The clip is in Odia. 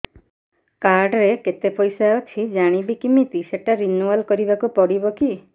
କାର୍ଡ ରେ କେତେ ପଇସା ଅଛି ଜାଣିବି କିମିତି ସେଟା ରିନୁଆଲ କରିବାକୁ ପଡ଼ିବ କି